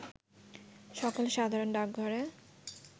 সকল সাধারণ ডাকঘরে